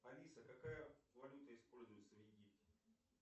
алиса какая валюта используется в египте